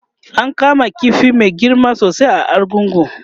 an kama ƙifi Mai girma sosai a argungu